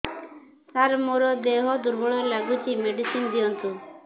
ସାର ମୋର ଦେହ ଦୁର୍ବଳ ଲାଗୁଚି ମେଡିସିନ ଦିଅନ୍ତୁ